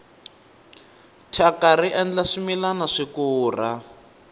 thyaka ri endla swimilana swi kura